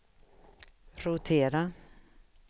rotera